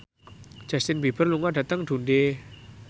Justin Beiber lunga dhateng Dundee